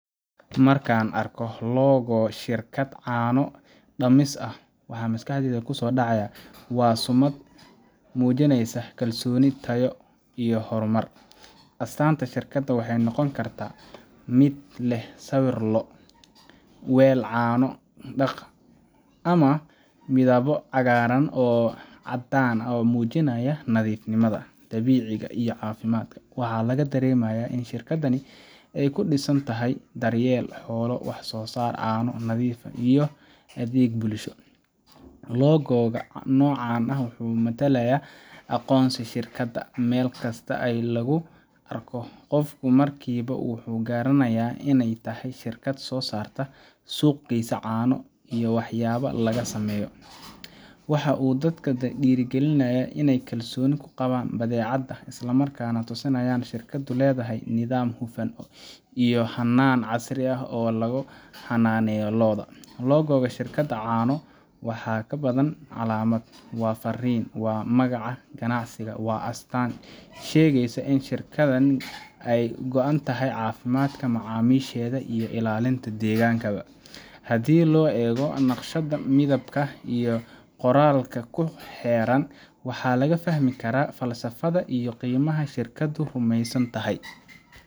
Marka aan arko logo-ga shirkad caano-dhaamis ah, waxa maskaxdayda ku soo dhacaya sumad muujinaysa kalsooni, tayo, iyo horumar. Astaanta shirkadda waxay noqon kartaa mid leh sawir lo’ ah, weel caano, daaq, ama midabbo cagaaran iyo caddaan ah oo muujinaya nadiifnimo, dabiiciga, iyo caafimaadka. Waxaa laga dareemayaa in shirkaddani ku dhisan tahay daryeel xoolo, wax-soo-saar caano nadiif ah, iyo adeeg bulsho. logo-ga noocan ah waxa uu matalaa aqoonsiga shirkadda meel kasta oo lagu arko, qofku markiiba wuu garanayaa in ay tahay shirkad soo saarta ama suuq geysa caano iyo waxyaabaha laga sameeyo. Waxa uu dadka ku dhiirrigelinayaa inay kalsooni ku qabaan badeecada, isla markaana uu tusinayaa in shirkaddu leedahay nidaam hufan iyo hannaan casri ah oo lagu xannaaneeyo lo’da. logo-ga shirkad caanood waa wax ka badan calaamad waa farriin, waa magaca ganacsiga, waa astaan sheegaysa in shirkaddan ay ka go’an tahay caafimaadka macaamiisheeda iyo ilaalinta deegaankaba. Haddii loo eego naqshada, midabka, iyo qoraalka ku xeeran, waxa laga fahmi karaa falsafadda iyo qiimaha ay shirkaddu rumaysan tahay.